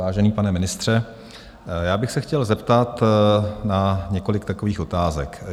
Vážený pane ministře, já bych se chtěl zeptat na několik takových otázek.